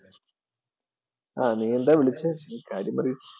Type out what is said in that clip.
ആഹ് നീ എന്താ വിളിച്ചേ? നീ കാര്യം പറയു.